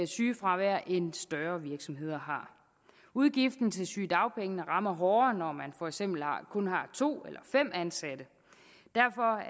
sygefravær end større virksomheder har udgifterne til sygedagpenge rammer hårdere når man for eksempel kun har to eller fem ansatte derfor